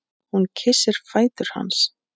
Hún kyssir fætur hans.